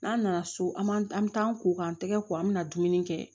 N'an nana so an m'an an mi taa an ko k'an tɛgɛ ko an mi na dumuni kɛ